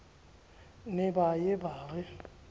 ne ba ye ba re